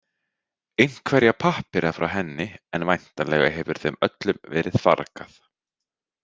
Einhverja pappíra frá henni en væntanlega hefur þeim öllum verið fargað.